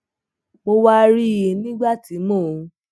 mo wá rí i nígbà tí mò ń